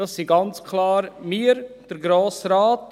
Das sind ganz klar wir, der Grosse Rat.